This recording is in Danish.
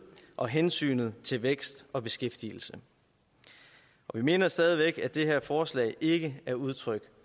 og hensynet til vækst og beskæftigelse vi mener stadig væk at det her forslag ikke er udtryk